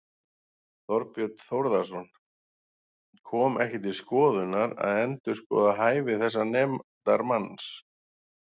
Þorbjörn Þórðarson: Kom ekki til skoðunar að endurskoða hæfi þessa nefndarmanns?